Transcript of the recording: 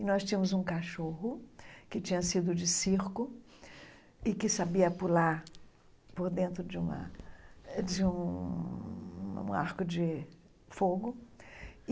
E nós tínhamos um cachorro que tinha sido de circo e que sabia pular por dentro de um ar de um arco de fogo.